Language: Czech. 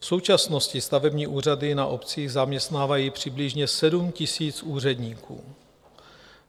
V současnosti stavební úřady na obcích zaměstnávají přibližně 7 000 úředníků.